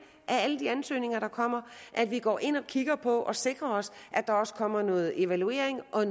af alle de ansøgninger der kommer og at vi går ind og kigger på og sikrer os at der også kommer noget evaluering og